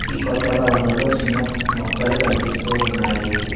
ఈ కొత్త భవనంలో చిన్న మొక్కలు కనిపిస్తూ ఉన్నాయి.